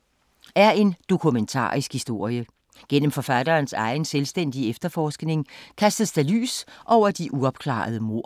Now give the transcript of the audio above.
Bogen Dobbeltmordet på Peter Bangs Vej af Peer Kaae er en dokumentarisk historie. Gennem forfatterens egen, selvstændige efterforskning kastes der lys over de uopklarede mord.